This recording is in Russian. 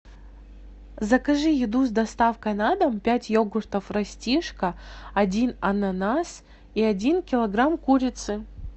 закажи еду с доставкой на дом пять йогуртов растишка один ананас и один килограмм курицы